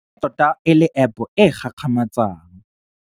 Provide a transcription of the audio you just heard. E tota e le App e e gakgamatsang.